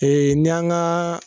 Ee Ni y'an gaa